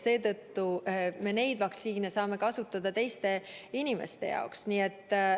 Seetõttu me seda vaktsiini saame kasutada teiste inimeste jaoks.